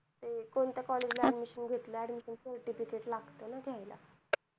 हम्म कोणत्या college ला admission घेतलं, admission certificate लागतं ना त्याला.